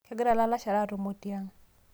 kegira ilalashera atumo tiang